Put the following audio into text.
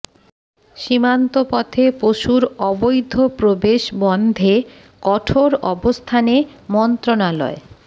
সীমান্ত পথে পশুর অবৈধ প্রবেশ বন্ধে কঠোর অবস্থানে মন্ত্রণালয়